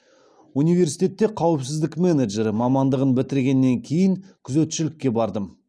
университетте қауіпсіздік менеджері мамандығын бітіргеннен кейін күзетшілікке бардым